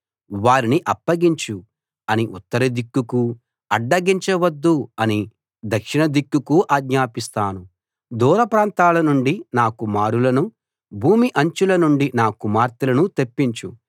వారిని అప్పగించు అని ఉత్తరదిక్కుకు అడ్డగించ వద్దు అని దక్షిణదిక్కుకు ఆజ్ఞాపిస్తాను దూర ప్రాంతాల నుండి నా కుమారులను భూమి అంచుల నుండి నా కుమార్తెలను తెప్పించు